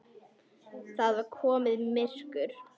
Það var komið myrkur.